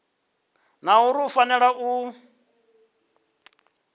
na uri u fanela u